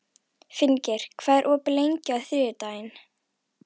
Finngeir, hvað er opið lengi á þriðjudaginn?